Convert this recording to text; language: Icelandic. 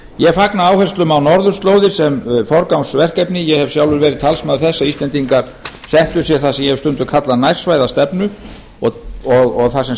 ég fagna áherslum á norðurslóðir sem forgangsverkefni ég hef sjálfur verið talsmaður þess að íslendingar settu sér það sem ég hef stundum kallað nærsvæðastefnu þar sem